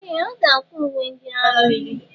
Ee! Ọ ga-akwa uwe ndị agha mmiri.